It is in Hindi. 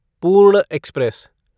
पूर्ण एक्सप्रेस